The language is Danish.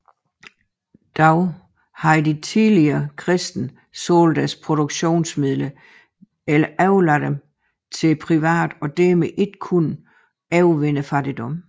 Dog havde de tidlige kristne solgt deres produktionsmidler eller overladt dem til private og dermed ikke kunnet overvinde fattigdommen